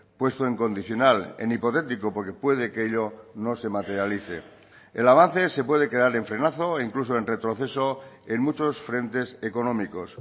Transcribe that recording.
puesto en condicional en hipotético porque puede que ello no se materialice el avance se puede quedar en frenazo o incluso en retroceso en muchos frentes económicos